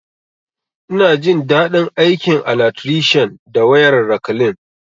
Ina jin dadi aikin alatrishan da wayar rakalin